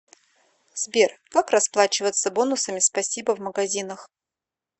сбер как расплачиваться бонусами спасибо в магазинах